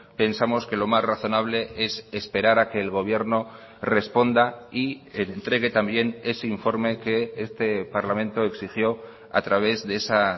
pensamos que lo más razonable es esperar a que el gobierno responda y entregue también ese informe que este parlamento exigió a través de esa